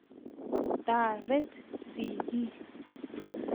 taret sikiik